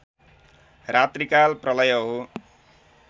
रात्रिकाल प्रलय हो